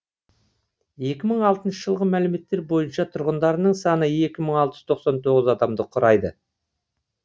екі мың алтыншы жылғы мәліметтер бойынша тұрғындарының саны екі мың алтыз жүз тоқсан тоғыз адамды құрайды